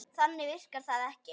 Þannig virkar það ekki.